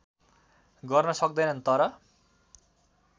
गर्न सक्दैन तर